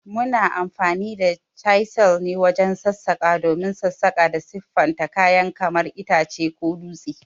Muna amfani da chisel wajen sassaƙa don sassaƙa da siffata kayan kamar itace ko dutse.